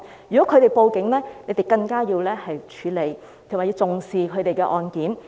如果他們報案，警方更要處理及重視他們的案件。